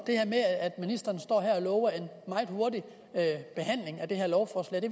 ministeren står så her og lover en meget hurtig behandling af det her lovforslag det